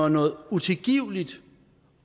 at noget utilgiveligt